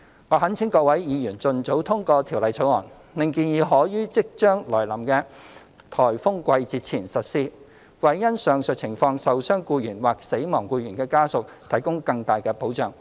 我懇請各位議員盡早通過《條例草案》，令建議可於即將來臨的颱風季節前實施，為因上述情況受傷僱員或死亡僱員的家屬提供更大的保障。